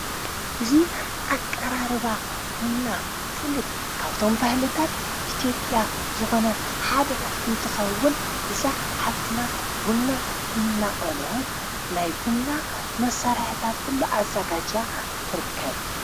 እዙ ኣቀራርባ ቡንና ፍሉጥ ካብቶም ባህለታት ኢቲጴያ ዝኾነ ሓድ እንትኸውን እዛ ሓፍትና ቡንና እናቐለወት ናይ ቡንና መሠርሕታት ኲሉ ኣዛጋጃ ትርክብ።